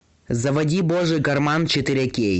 заводи божий карман четыре кей